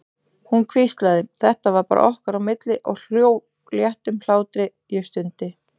Hún hvíslaði, þetta var bara okkar á milli, og hló léttum hlátri, ég stundi.